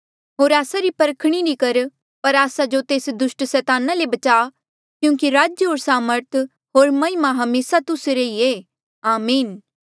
होर आस्सा री परखणी नी कर पर आस्सा जो तेस दुस्ट सैताना ले बचा क्यूंकि राज्य होर सामर्थ होर महिमा हमेसा तुस्सा रे ई ऐें आमीन